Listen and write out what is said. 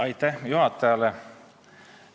Aitäh juhatajale!